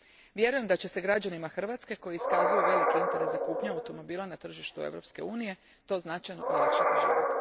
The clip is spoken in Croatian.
Vjerujem da će građanima Hrvatske koji iskazuju veliki interes za kupnju automobila na tržištu Europske unije to značajno olakšati život.